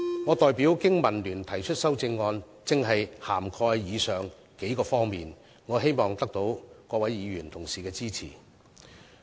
我代表經民聯提出的修正案，正正涵蓋了上述數方面，希望能夠獲得各位議員同事的支持。